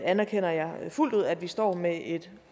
anerkender jeg fuldt ud at vi står med et